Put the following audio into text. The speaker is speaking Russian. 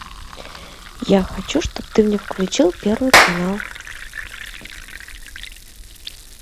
я хочу чтоб ты мне включил первый канал